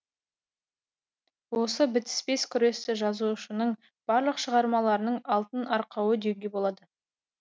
осы бітіспес күресті жазушының барлық шығармаларының алтын арқауы деуге болады